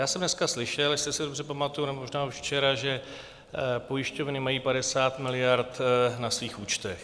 Já jsem dneska slyšel, jestli se dobře pamatuji, nebo možná už včera, že pojišťovny mají 50 miliard na svých účtech.